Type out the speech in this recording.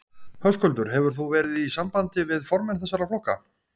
Höskuldur: Hefur þú verið í sambandið við formenn þessara flokka?